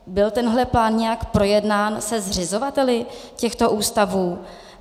Byl tenhle plán nějak projednán se zřizovateli těchto ústavů?